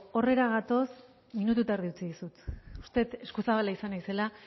horretara gatoz minutu eta erdi utzi dizut uste dut eskuzabala izan naizela